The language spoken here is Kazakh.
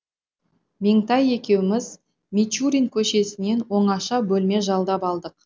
меңтай екеуміз мичурин көшесінен оңаша бөлме жалдап алдық